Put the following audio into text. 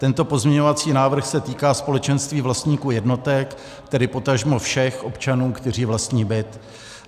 Tento pozměňovací návrh se týká společenství vlastníků jednotek, tedy potažmo všech občanů, kteří vlastní byt.